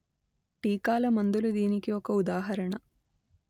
టీకాల మందులు దీనికి ఒక ఉదాహరణ